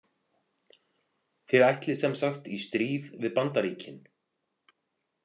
Þið ætlið sem sagt í stríð við Bandaríkin?